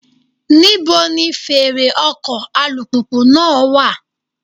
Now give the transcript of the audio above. Níbo ni fèrè ọkọ̀ alùpùpù náà wà?